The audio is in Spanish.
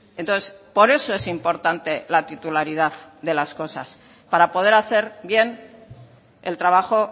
entonces por eso es importante la titularidad de las cosas para poder hacer bien el trabajo